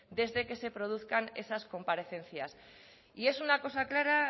desde que se produzcan esas comparecencias y es una cosa clara